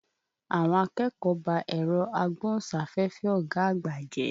Àwọn akẹ́kọ̀ọ́ ba ẹ̀rọ agbóhùn sáféfé ọ̀gá àgbà jẹ́.